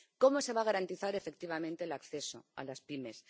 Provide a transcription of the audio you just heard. ¿Cómo se va a garantizar efectivamente el acceso a las pymes?